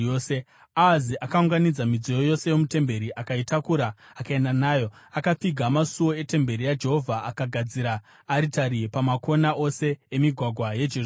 Ahazi akaunganidza midziyo yose yomutemberi akaitakura akaenda nayo. Akapfiga masuo etemberi yaJehovha akagadzira aritari pamakona ose emigwagwa yeJerusarema.